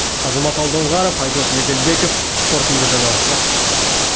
азамат алдоңғаров айдос меделбеков қорытынды жаңалықтар